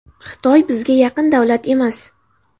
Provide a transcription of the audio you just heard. Xitoy bizga yaqin davlat emas.